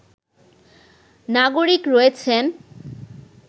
নাগরিক রয়েছেন